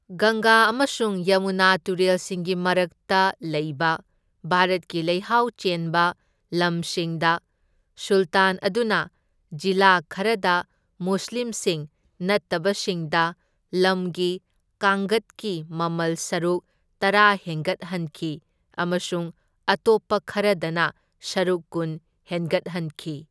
ꯒꯪꯒꯥ ꯑꯃꯁꯨꯡ ꯌꯃꯨꯅꯥ ꯇꯨꯔꯦꯜꯁꯤꯡꯒꯤ ꯃꯔꯛꯇ ꯂꯩꯕ ꯚꯥꯔꯠꯀꯤ ꯂꯩꯍꯥꯎ ꯆꯦꯟꯕ ꯂꯝꯁꯤꯡꯗ, ꯁꯨꯜꯇꯥꯟ ꯑꯗꯨꯅ ꯖꯤꯂꯥ ꯈꯔꯗ ꯃꯨꯁꯂꯤꯝꯁꯤꯡ ꯅꯠꯇꯕꯁꯤꯡꯗ ꯂꯝꯒꯤ ꯀꯥꯡꯒꯠꯀꯤ ꯃꯃꯜ ꯁꯔꯨꯛ ꯇꯔꯥ ꯍꯦꯟꯒꯠꯍꯟꯈꯤ ꯑꯃꯁꯨꯡ ꯑꯇꯣꯞꯄ ꯈꯔꯗꯅ ꯁꯔꯨꯛ ꯀꯨꯟ ꯍꯦꯟꯒꯠꯍꯟꯈꯤ꯫